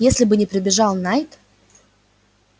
если бы не прибежал найд